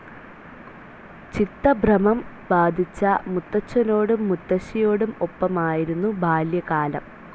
ചിത്തഭ്രമം ബാധിച്ച മുത്തച്ഛനോടും, മുത്തശ്ശിയോടും ഒപ്പമായിരുന്നു ബാല്യകാലം.